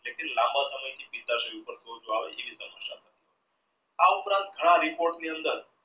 એટલે કે લાંબા સમય થી આ ઉપરાંત ઘણા report ની અંદર